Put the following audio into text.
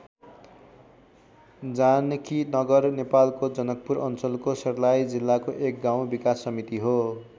जानकीनगर नेपालको जनकपुर अञ्चलको सर्लाही जिल्लाको एक गाउँ विकास समिति हो।